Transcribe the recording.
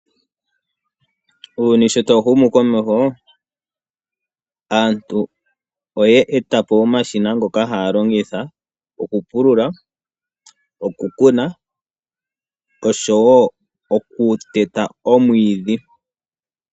Ehumo komeho aantu oya eta po omashina ngoka haya longitha okupulula, oku kuna noshowo oku teta omwiidhi.